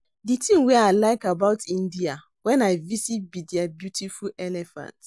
The thing wey I like about India wen I visit be their beautiful elephants